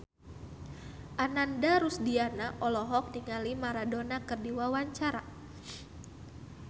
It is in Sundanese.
Ananda Rusdiana olohok ningali Maradona keur diwawancara